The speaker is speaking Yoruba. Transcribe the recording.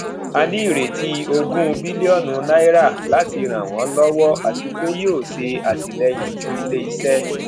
a ní ìrètí ogún biliọnu naira láti ràn wọn lọwọ àti pé yíò ṣe atilẹyin fún ilé iṣẹ